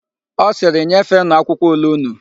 Ọ sịrị, "nyefeenụ akwụkwọ ule ụnụ"!